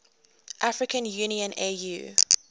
african union au